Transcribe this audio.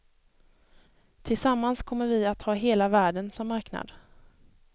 Tillsammans kommer vi att ha hela världen som marknad.